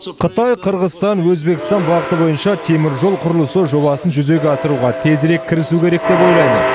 қытай қырғызстан өзбекстан бағыты бойынша теміржол құрылысы жобасын жүзеге асыруға тезірек кірісу керек деп ойлаймын